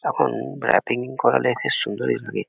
এখন র‍্যাপিং করালে বেশ সুন্দরই লাগে।